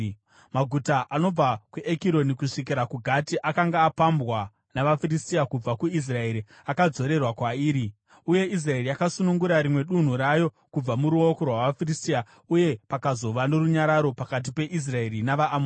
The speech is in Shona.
Maguta anobva kuEkironi kusvikira kuGati akanga apambwa navaFiristia kubva kuIsraeri akadzorerwa kwairi, uye Israeri yakasunungura rimwe dunhu rayo kubva muruoko rwavaFiristia. Uye pakazova norunyararo pakati peIsraeri navaAmori.